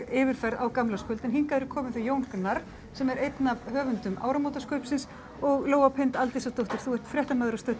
yfirferð á gamlárskvöld en hingað eru komin þau Jón Gnarr sem er einn af höfundum áramótaskaupsins og Lóa Pind Aldísardóttir þú ert fréttamaður á Stöð